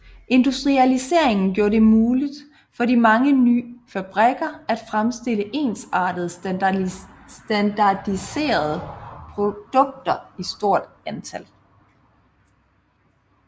Industrialiseringen gjorde det muligt på de mange ny fabrikker at fremstille ensartede standardiserede produkter i stort antal